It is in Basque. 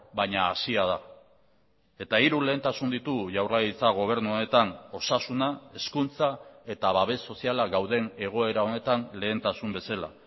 baina hasia da eta hiru lehentasun ditugu jaurlaritza gobernu honetan osasuna hezkuntza eta babes soziala gauden egoera honetan lehentasun bezala